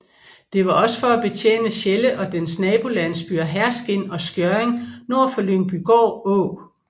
Det var for også at betjene Sjelle og dens nabolandsbyer Herskind og Skjørring nord for Lyngbygård Å